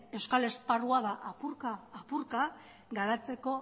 euskal esparrua apurka apurka garatzeko